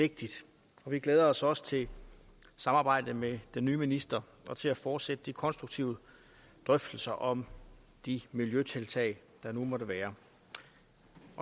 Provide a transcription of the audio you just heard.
vigtigt og vi glæder os også til samarbejdet med den nye minister og til at fortsætte de konstruktive drøftelser om de miljøtiltag der nu måtte være